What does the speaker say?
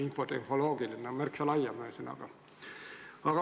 Infotehnoloogiline tugi on lai mõiste.